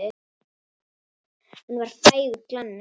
Hann var frægur glanni.